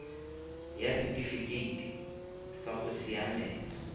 ya setifikeite sa go siamela